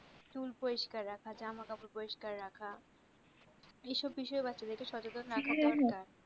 চুল পরিষ্কার রাখা জামা কাপড় পরিষ্কার রাখা এই সব বিষয় বাচ্চাদেরকে সচেতন রাখা দরকার হ্যা হ্যা